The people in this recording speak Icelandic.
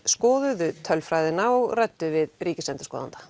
skoðuðu tölfræðina og ræddu við ríkisendurskoðanda